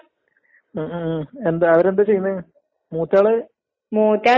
ഏ plus two കഴിഞ്ഞാല് ഡിഗ്രിക്ക് പൊയ്ക്കൂടേനോ? നല്ല വിദ്യാഭ്യാസെല്ലാം